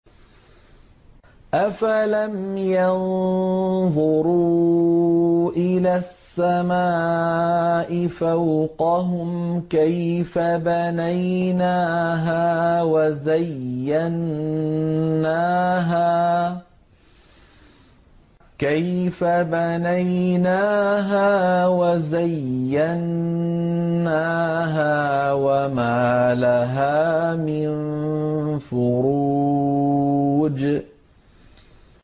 أَفَلَمْ يَنظُرُوا إِلَى السَّمَاءِ فَوْقَهُمْ كَيْفَ بَنَيْنَاهَا وَزَيَّنَّاهَا وَمَا لَهَا مِن فُرُوجٍ